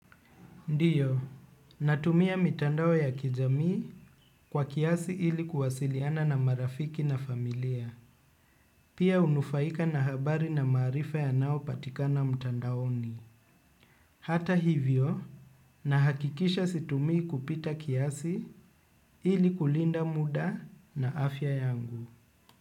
Ndio, natumia mitandao ya kijamii kwa kiasi ili kuwasiliana na marafiki na familia, pia hunufaika na habari na maarifa yanayopatikana mtandaoni. Hata hivyo, nahakikisha situmii kupita kiasi ili kulinda muda na afya yangu.